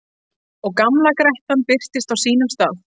Og gamla grettan birtist á sínum stað.